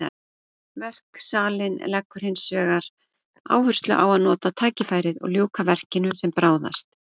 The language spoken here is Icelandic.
Verksalinn leggur hinsvegar áherslu á að nota tækifærið og ljúka verkinu sem bráðast.